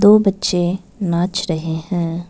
दो बच्चे नाच रहे हैं।